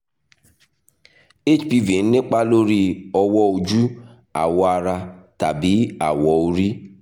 hpv ń nípa lórí ọwọ́ ojú awọ̀ ara tàbí awọ orí